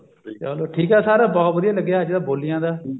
ਚਲੋ ਠੀਕ ਹੈ sir ਬਹੁਤ ਵਧੀਆ ਲੱਗਿਆ ਅੱਜ ਬੋਲੀਆਂ ਦਾ